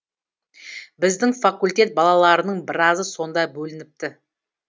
біздің факультет балаларының біразы сонда бөлініпті